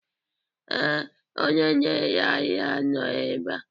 Ee, onye na-ere ahịa nọ ebe a